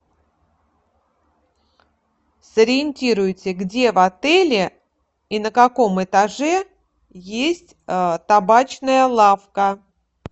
сориентируйте где в отеле и на каком этаже есть табачная лавка